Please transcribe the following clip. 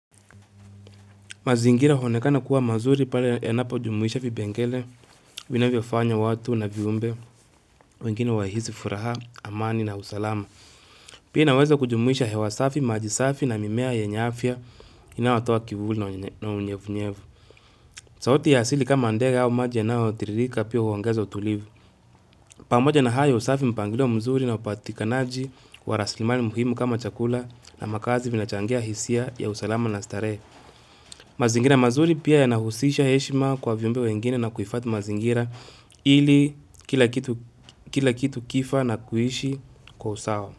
Mazingira huonekana kuwa mazuri pale yanapojumuisha vipengele vinavyofanya watu na viumbe wengine wahisi furaha, amani na usalama. Pia inaweza kujumuisha hewa safi, maji safi na mimea yenye afya inayotoa kivuli na unyevunyevu. Sauti ya asili kama ndega au maji yanayotiririka pia huongeza utulivu. Pamoja na haya usafi mpangilo mzuri na upatikanaji wa raslimali muhimu kama chakula na makazi vinachangia hisia ya usalama na starehe. Mazingira mazuri pia yanahusisha heshima kwa viumbe wengine na kuhifadhi mazingira ili kila kitu kifa na kuishi kwa usawa.